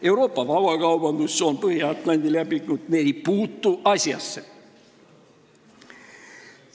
Euroopa vabakaubandustsoon, Põhja-Atlandi leping – need ei puutu asjasse.